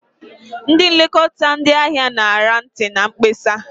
Ndị nlekọta ndị ahịa ṅara ntị na mkpesa.